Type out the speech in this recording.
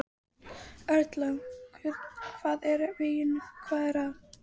Erla: Hvað er að veginum, hvað er að?